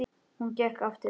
Hún gekk ekki aftur.